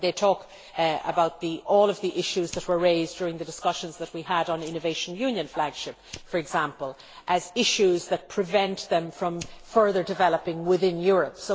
They talk about all the issues that were raised during the discussions that we had on the innovation union flagship for example, as issues that prevent them from further developing within Europe.